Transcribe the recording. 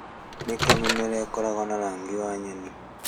Nĩ kĩĩ mĩmera ĩkoragwo na rangi ya nyeni?